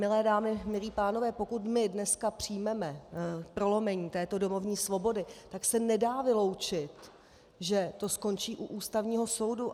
Milé dámy, milí pánové, pokud my dneska přijmeme prolomení této domovní svobody, tak se nedá vyloučit, že to skončí u Ústavního soudu.